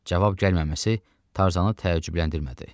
Cavab gəlməməsi Tarzanı təəccübləndirmədi.